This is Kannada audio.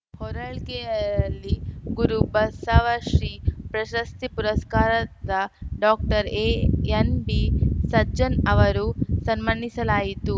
ಹೊರಳ್ ಲ್ಕೆಯಲ್ಲಿ ಗುರು ಬಸವಶ್ರೀ ಪ್ರಶಸ್ತಿ ಪುರಸ್ಕಾರದ ಡಾಕ್ಟರ್ಎಎನ್‌ಬಿಸಜ್ಜನ್‌ ಅವರು ಸನ್ಮಾನಿಸಲಾಯಿತು